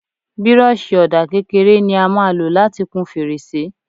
Bírọ́ọ̀ṣì ọ̀dà kékeré ni a máa lò láti kun fèrèsé.